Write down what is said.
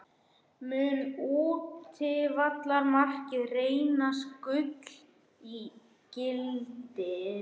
Mun útivallarmarkið reynast gulls ígildi?